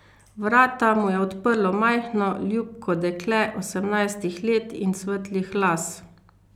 Vrata mu je odprlo majhno, ljubko dekle osemnajstih let in svetlih las.